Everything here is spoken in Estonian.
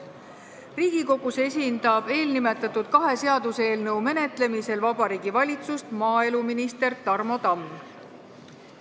Riigikogus esindab eelnimetatud kahe seaduseelnõu menetlemisel Vabariigi Valitsust maaeluminister Tarmo Tamm.